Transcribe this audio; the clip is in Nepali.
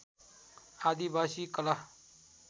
आदिवासी कला